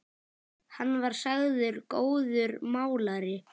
Hann var sagður góður málari.